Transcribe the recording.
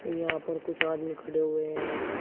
यहां पर कुछ आदमी खड़े हुए हैं।